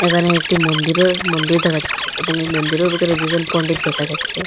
এখানে একটি মন্দিরের মন্দির দেখা যাচ্ছে এবং এই মন্দিরের ভিতরে দুজন পণ্ডিত দেখা যাচ্ছে।